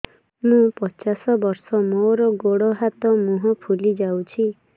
ମୁ ପଚାଶ ବର୍ଷ ମୋର ଗୋଡ ହାତ ମୁହଁ ଫୁଲି ଯାଉଛି